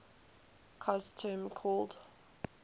cos term called